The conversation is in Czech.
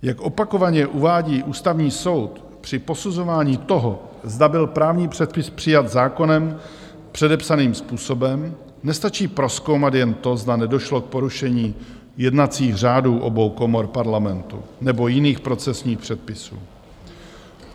Jak opakovaně uvádí Ústavní soud, při posuzování toho, zda byl právní předpis přijat zákonem předepsaným způsobem, nestačí prozkoumat jen to, zda nedošlo k porušení jednacích řádů obou komor Parlamentu nebo jiných procesních předpisů.